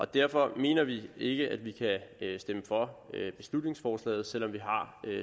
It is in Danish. derfor mener vi ikke at vi kan stemme for beslutningsforslaget selv om vi har